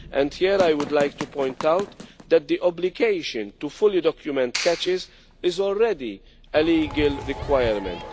Here I would like to point out that the obligation to fully document catches is already a legal requirement.